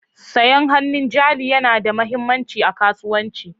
Sayan hannun jari yana da mahimmanci a kasuwanci.